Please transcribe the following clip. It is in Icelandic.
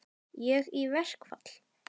Ég í verkfall?